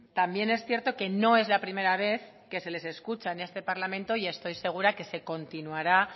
también es cierto que no es la primera vez que se les escucha en este parlamento y estoy segura que se continuará